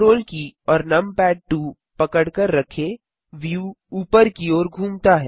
ctrl की और नमपैड2 पकड़कर रखें व्यू ऊपर की ओर घूमता है